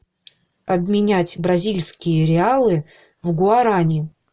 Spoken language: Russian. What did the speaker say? обменять бразильские реалы в гуарани